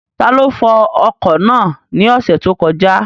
Taló fọ ọkọ̀ náà ní ọ̀sẹ̀ tó kọjá?